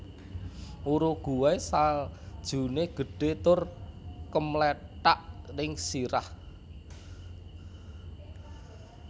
Uruguay saljune gedhe tur kemlethak ning sirah